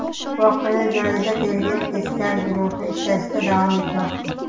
Voqea joyida tergov-tezkor guruhi ishlashda davom etmoqda.